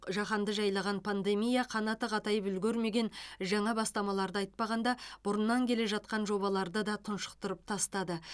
жаһанды жайлаған пандемия қанаты қатайып үлгермеген жаңа бастамаларды айтпағанда бұрыннан келе жатқан жобаларды да тұншықтырып тастады